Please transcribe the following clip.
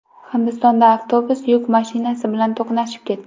Hindistonda avtobus yuk mashinasi bilan to‘qnashib ketdi.